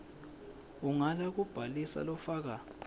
ungala kubhalisa lofaka